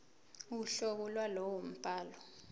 uhlobo lwalowo mbhalo